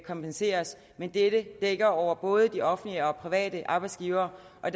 kompenseres men dette dækker over både de offentlige og private arbejdsgivere og